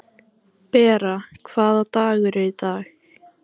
Bera, hvaða dagur er í dag?